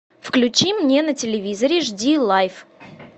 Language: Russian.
включи мне на телевизоре жди лайв